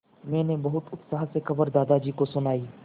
मैंने बहुत उत्साह से खबर दादाजी को सुनाई